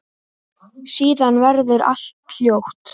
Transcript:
Síðan verður allt hljótt.